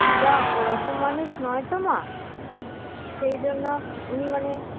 দিদা ওরকম মানুষ নয় তো মা সেই জন্য উনি মানে